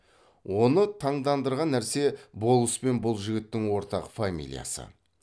оны таңдандырған нәрсе болыс пен бұл жігіттің ортақ фамилиясы